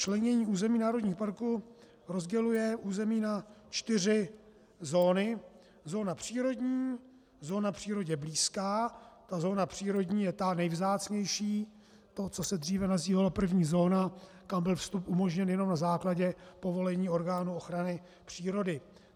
Členění území národních parků rozděluje území na čtyři zóny: zóna přírodní, zóna přírodě blízká - ta zóna přírodní je ta nejvzácnější, to, co se dříve nazývalo první zóna, kam byl vstup umožněn jenom na základě povolení orgánů ochrany přírody.